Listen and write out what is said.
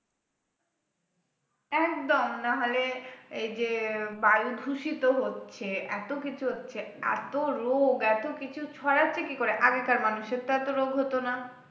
একদম নাহলে এইযে বায়ু দূষিত হচ্ছে এত কিছু হচ্ছে এত রোগ এত কিছু ছড়াচ্ছে কি করে আগেকার মানুষের তো এত রোগ হত না